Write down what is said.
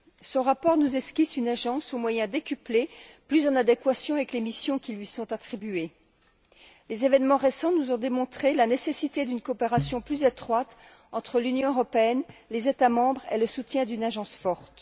Son rapport nous esquisse une agence aux moyens décuplés, plus en adéquation avec les missions qui lui sont attribuées. Les événements récents nous ont démontré la nécessité d'une coopération plus étroite entre l'Union européenne, les États membres et le soutien d'une agence forte.